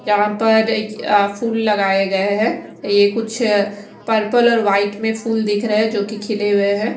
यहाँ पर यहाँ फुल लगाये गय है यह कुछ पर्पल और वाईट में फुल दिख रहे है जोकि खिले हुए है।